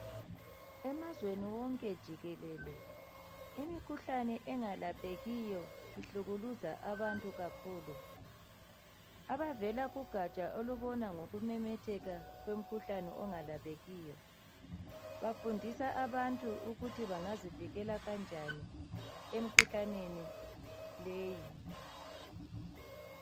Emazweni wonke jikelele imikhuhlane engalaphekiyo ihlukuluza abantu kakhulu. Abavela kugatsha olubona ngokumemetheka kwemikhuhlane engalaphekiyo bafundisa abantu ukuthi bangazivikela njani emikhuhlaneni leyi